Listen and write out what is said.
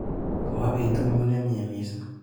Kawa betunyu nemnyee missing.